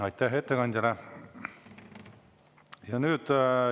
Aitäh ettekandjale!